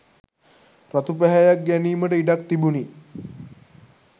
රතු පැහැයක් ගැනීමට ඉඩක් තිබුණි